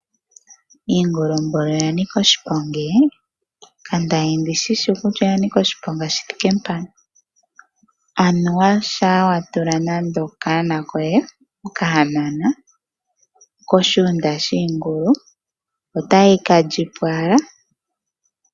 Iingulu nani oya nika oshiponga. Kanda li ndi shi shi kutya oya nika oshiponga shi thike mpaka. Anuwa shampa wa tula nande okanona koye, okahanona koshigunda shiingulu otayi ka li po owala.